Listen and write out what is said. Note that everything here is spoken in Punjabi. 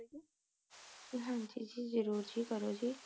ਹਾਂਜੀ ਜੀ ਜਰੂਰ ਜੀ ਕਰੋ ਜੀ